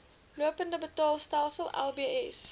lopende betaalstelsel lbs